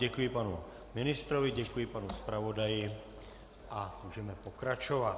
Děkuji panu ministrovi, děkuji panu zpravodajovi a můžeme pokračovat.